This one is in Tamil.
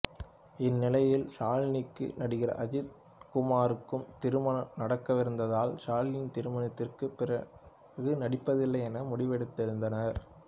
இந்நிலையில் ஷாலினிக்கும் நடிகர் அஜித்குமார்க்கும் திருமணம் நடக்கவிருந்ததால் ஷாலினி திருமணத்திற்குப் பிறகு நடிப்பதில்லை என முடிவெடுத்திருந்தார்